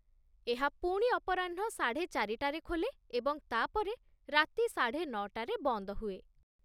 ଏହା ପୁଣି ଅପରାହ୍ନ ସାଢ଼େ ଚାରିଟାରେ ଖୋଲେ ଏବଂ ତା'ପରେ ରାତି ସାଢ଼େ ନଅ ଟାରେ ବନ୍ଦ ହୁଏ।